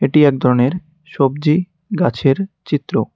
এটি একধরনের সবজি গাছের চিত্র।